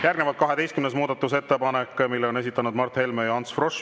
Järgnevalt 12. muudatusettepanek, mille on esitanud Mart Helme ja Ants Frosch.